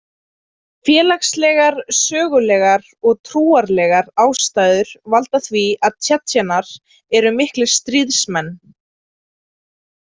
Félagslegar, sögulegar og trúarlegar ástæður valda því að Tsjetsjenar eru miklir stríðsmenn.